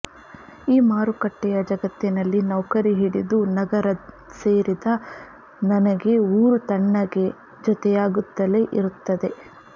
ಈ ಮಾರುಕಟ್ಟೆಯ ಜಗತ್ತಿನಲ್ಲಿ ನೌಕರಿ ಹಿಡಿದು ನಗರ ಸೇರಿದ ನನಗೆ ಊರು ತಣ್ಣಗೆ ಜೊತೆಯಾಗುತ್ತಲೆ ಇರುತ್ತದೆ